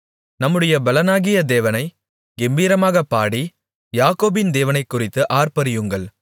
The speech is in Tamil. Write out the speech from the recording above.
நம்முடைய பெலனாகிய தேவனைக் கெம்பீரமாகப் பாடி யாக்கோபின் தேவனைக்குறித்து ஆர்ப்பரியுங்கள்